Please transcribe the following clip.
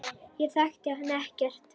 Ég þekki hann ekkert.